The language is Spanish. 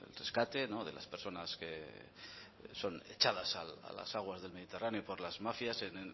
rescate de las personas que son echadas a las aguas del mediterráneo por las mafias en